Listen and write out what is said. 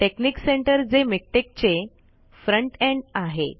technique center जे मिक्टेक चे फ़्रंट एंड़ आहे